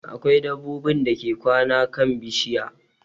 Akwai dabbobin dake kwana kan bishiya